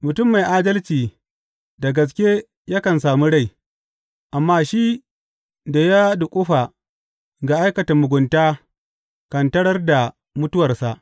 Mutum mai adalci da gaske yakan sami rai, amma shi da ya duƙufa ga aikata mugunta kan tarar da mutuwarsa.